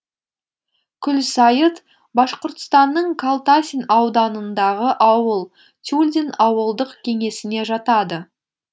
кульсайыт башқұртстанның калтасин ауданындағы ауыл тюльдин ауылдық кеңесіне жатады